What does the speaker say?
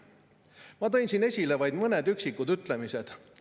Ma tõin siin esile vaid mõned üksikud ütlemised.